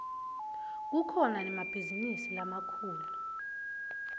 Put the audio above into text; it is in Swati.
kukhona nemabhizinisi lamakhulu